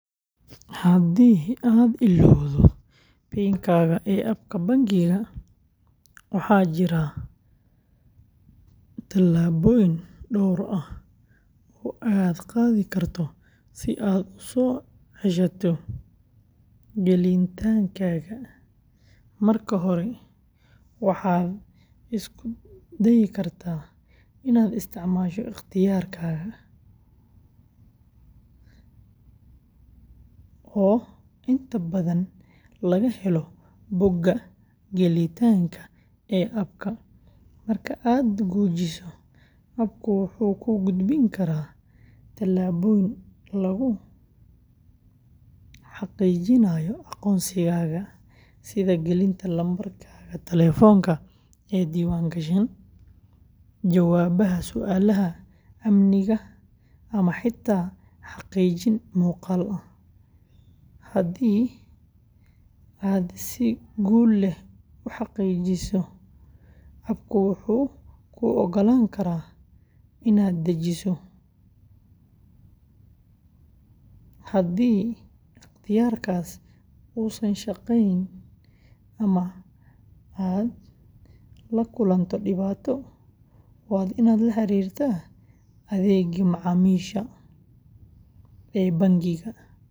Haddii aad illowdo PIN-kaaga ee app-ka bangiga, waxaa jira tallaabooyin dhowr ah oo aad qaadi karto si aad u soo ceshato gelitaankaaga: marka hore, waxaad isku dayi kartaa inaad isticmaasho ikhtiyaarka oo inta badan laga helo bogga gelitaanka ee app-ka; marka aad gujiso, app-ku wuxuu kuu gudbin karaa tallaabooyin lagu xaqiijinayo aqoonsigaaga, sida gelinta lambarkaaga taleefanka ee diiwaangashan, jawaabaha su’aalaha amniga ama xitaa xaqiijin muuqaal ah; haddii aad si guul leh u xaqiijiso, app-ku wuxuu kuu oggolaan karaa inaad dejiso mid cusub haddii ikhtiyaarkaas uusan shaqeyn ama aad la kulanto dhibaato, waa inaad la xiriirtaa adeegga macaamiisha ee bangiga.